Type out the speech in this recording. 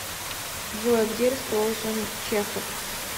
джой где расположен чехов